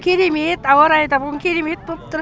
керемет ауа райы да бүгін керемет боп тұр